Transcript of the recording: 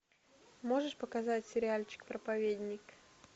можешь показать сериальчик проповедник